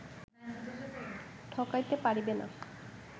ঠকাইতে পারিবে না